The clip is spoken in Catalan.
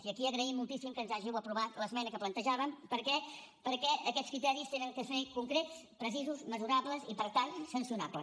i aquí agraïm moltíssim que ens hàgiu aprovat l’esmena que plantejàvem perquè aquests criteris han de ser concrets precisos mesurables i per tant sancionables